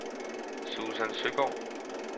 Susan Søgaard